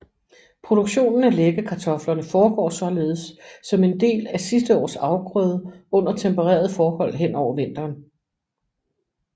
Produktionen af læggekartoflerne foregår således som en del af sidste års afgrøde under temperede forhold hen over vinteren